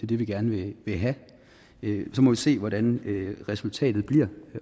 det vi gerne vil have så må vi se hvordan resultatet bliver